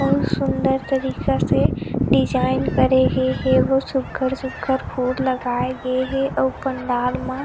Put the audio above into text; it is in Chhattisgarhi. बहुत सुन्दर तरीका से डिज़ाइन करेगे हे बहुत सुघर- सुघर फूल लगाए गए हे अउ पंडाल म --